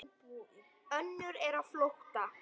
Önnur er á flótta.